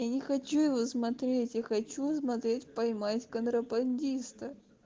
я не хочу его смотреть я хочу смотреть поймать контрабандиста